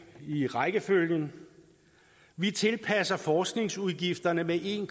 i rækkefølgen vi tilpasser forskningsudgifterne med en